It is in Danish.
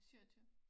27